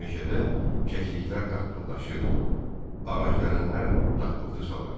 Meşədə kəklikər qaqqıldaşır, ağac dərənlər daqqıltı salırdı.